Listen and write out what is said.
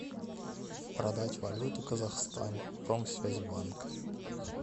продать валюту казахстан промсвязьбанк